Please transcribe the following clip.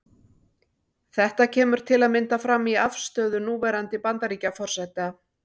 Þetta kemur til að mynda fram í afstöðu núverandi Bandaríkjaforseta.